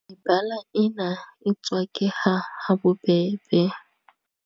Mebala ena e tswakeha ha bobebe.